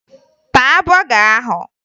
Taa bọga ahụ!